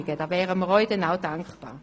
Da wären wir Ihnen dann auch dankbar.